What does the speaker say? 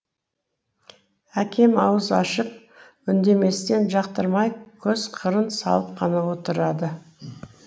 әкем ауыз ашып үндеместен жақтырмай көзқырын салып қана отырады